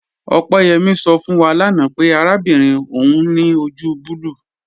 Opeyẹmi sọ fún wà láńà pẹ̀ àràbìnrin ọún ni ojú bùlùù.